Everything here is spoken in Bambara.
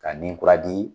Ka ni kura di